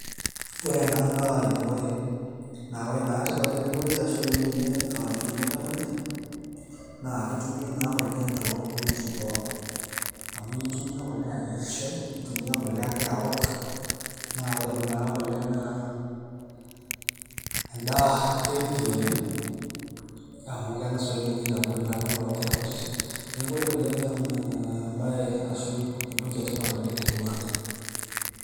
ore ena naa elepore ore naa tipat elepore naa ninye entumoto ekule naa ketumi naa kule toowejitin pooki, amu intumiya kule ayier shai ,nintumiya kule awuok, naa ore kuna kule naa edaa healthy oleng' amu keng'as aitagol inkera kutitik ilala, neeku ore kule naa entoki etipat oleng' temurua.